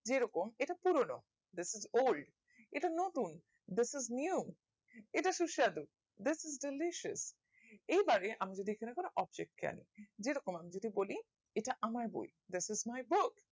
যে রকম পুরোনো thtat's old এটা নতুন this is new এটা সুস্বাদ this is delicious এই বাড়ে আমি যদি কোনো object কে আনি যে রকম আমি যদি বলি এটা আমরা বই this is my book